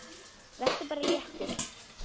Vertu bara léttur!